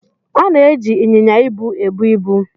A na-eji ịnyịnya ibu ebu ibu.